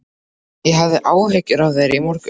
Ég hafði áhyggjur af þér í morgun.